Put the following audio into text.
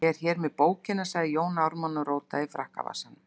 Ég er hér með bókina, sagði Jón Ármann og rótaði í frakkavasanum.